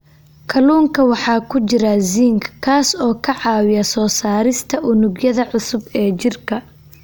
Kalluunka waxaa ku jira zinc, kaas oo ka caawiya soo saarista unugyada cusub ee jirka.